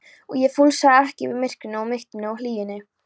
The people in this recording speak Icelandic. og fúlsaði ekki við myrkrinu og mýktinni og hlýjunni.